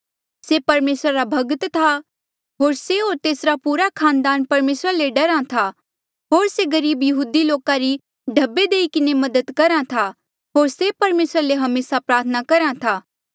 से परमेसरा रा भक्त था होर से होर तेसरा पूरा खानदान परमेसरा ले डरा था होर से गरीब यहूदी लोका री ढब्बे देई किन्हें भी मदद करहा था होर से परमेसरा ले हमेसा प्रार्थना करहा था